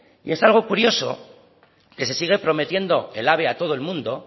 y es algo curioso que se sigue prometiendo el ave a todo el mundo